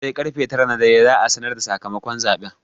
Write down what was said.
Sai karfe tara na dare za'a sanar da sakamakon zaɓen.